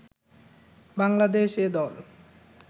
Bangladesh A দল